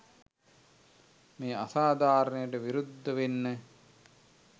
මේ අසාධාරණයට විරුද්ධ වෙන්න